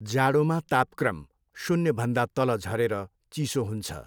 जाडोमा तापक्रम शून्यभन्दा तल झरेर चिसो हुन्छ।